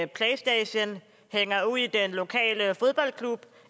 playstation hænger ud i den lokale fodboldklub